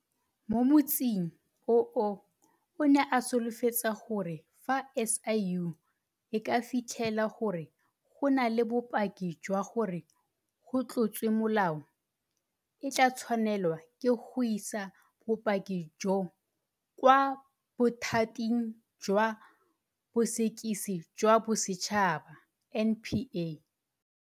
Mo motsing oo o ne a solofetsa gore fa SIU e ka fitlhela gore go na le bopaki jwa gore go tlotswe molao, e tla tshwanelwa ke go isa bopaki joo kwa Bothating jwa Bosekisi jwa Bosetšhaba NPA.